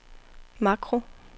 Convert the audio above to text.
makro